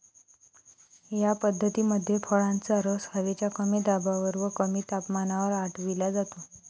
या पद्धतीमध्ये फळांचा रस हवेच्या कमी दाबावर व कमी तापमानावर आटविला जातो.